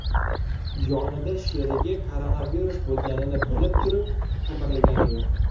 Yonida sherigi koronavirus bo‘lganini bilib turib, qimirlagani yo‘q.